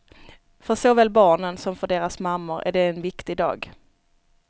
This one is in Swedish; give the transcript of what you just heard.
För såväl barnen, som för deras mammor är det en viktig dag.